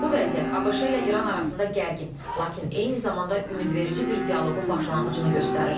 Bu vəziyyət ABŞ ilə İran arasında gərgin, lakin eyni zamanda ümidverici bir dialoqun başlanğıcını göstərir.